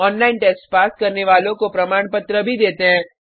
online test pass करने वालों को प्रमाण पत्र भी देते हैं